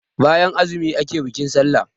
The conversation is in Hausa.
bayan azumi ake bikin sallah